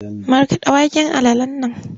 Markaɗa waken alalan nan!